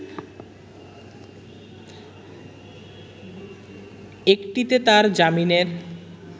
একটিতে তার জামিনের